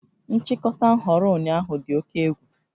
Nchịkọta nhọrọ ụnyaahụ dị oke egwu